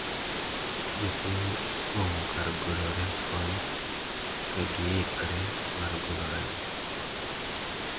Jopiny opong`o kar golo remb kony kagihikre mar golo remo.